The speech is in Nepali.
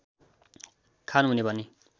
खान हुने भनी